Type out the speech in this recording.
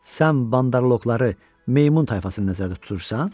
Sən bandarloqları, meymun tayfasını nəzərdə tutursan?